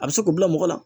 A bɛ se k'o bila mɔgɔ la